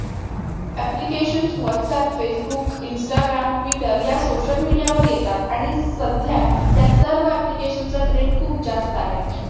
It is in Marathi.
application whats aap facebook instagram twitter या social media वर येतात आणि सध्या या सर्व application चा trend खूप जास्त आहे